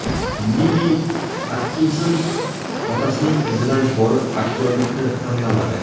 Lili Atkinson otasining izidan borib aktyorlikni tanlamadi.